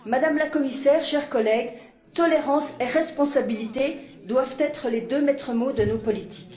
Madame la Commissaire, chers collègues, tolérance et responsabilité doivent être les deux maîtres mots de nos politiques.